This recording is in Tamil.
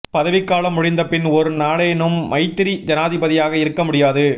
பதவிக் காலம் முடிந்த பின் ஒரு நாளேனும் மைத்திரி ஜனாதிபதியாக இருக்க முடியாது